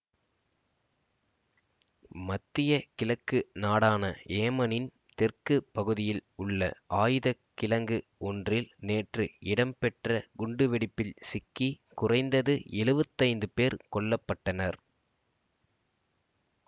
மத்திய கிழக்கு நாடான ஏமனின் தெற்கு பகுதியில் உள்ள ஆயுத கிழங்கு ஒன்றில் நேற்று இடம்பெற்ற குண்டுவெடிப்பில் சிக்கி குறைந்தது எழுவத்தி ஐந்து பேர் கொல்ல பட்டனர்